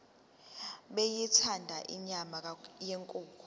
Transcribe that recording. beyithanda inyama yenkukhu